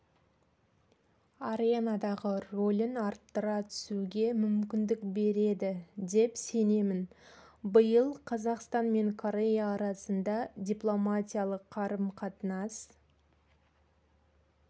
аренадағы рөлін арттыра түсуге мүмкіндік береді деп сенемін биыл қазақстан мен корея арасында дипломатиялық қарым-қатынас